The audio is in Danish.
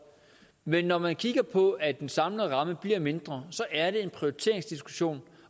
men når man kigger på at den samlede ramme bliver mindre så er det en prioriteringsdiskussion